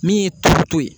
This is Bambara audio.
Min ye turu to ye